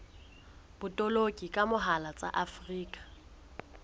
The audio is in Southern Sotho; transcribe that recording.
botoloki ka mohala tsa afrika